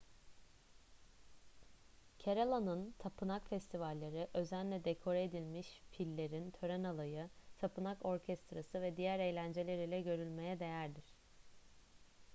kerala'nın tapınak festivalleri özenle dekore edilmiş fillerin tören alayı tapınak orkestrası ve diğer eğlenceler ile görülmeye değerdir